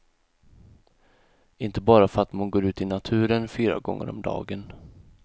Inte bara för att man går ut i naturen fyra gånger om dagen.